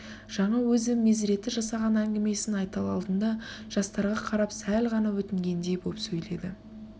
жаңа өзі мезреті жасаған әңгімесін айтал алдында жастарға карап сәл ғана өтінгендей боп сөйледі